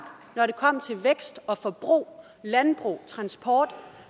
når det kom til vækst og forbrug landbrug og transport